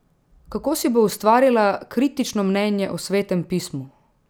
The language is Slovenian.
Kako si bo ustvarila kritično mnenje o Svetem pismu?